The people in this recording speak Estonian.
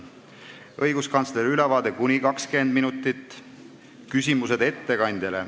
Kõigepealt on õiguskantsleri ülevaade kuni 20 minutit, järgnevad küsimused ettekandjale.